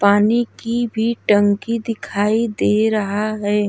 पानी की भी टंकी दिखाई दे रहा है।